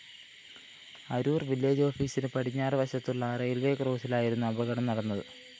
അരൂര്‍ വില്ലേജാഫീസിന് പടിഞ്ഞാറു വശത്തുള്ള റെയിൽവേസ്‌ ക്രോസിലായിരുന്നു അപകടം നടന്നത്